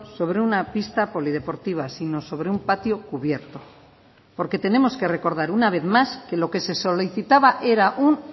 sobre una pista polideportiva sino sobre un patio cubierto porque tenemos que recordar una vez más que lo que se solicitaba era un